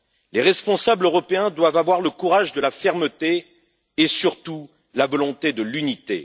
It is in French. Les responsables européens doivent avoir le courage de la fermeté et surtout la volonté de l'unité.